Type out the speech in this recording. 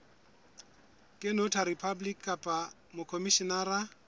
ke notary public kapa mokhomishenara